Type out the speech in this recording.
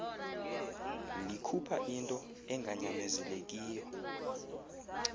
likhupha into enganyamezelekiyo